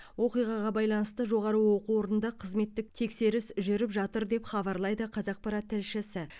оқиғаға байланысты жоғары оқу орнында қызметтік тексеріс жүріп жатыр деп хабарлайды қазақпарат тілшісі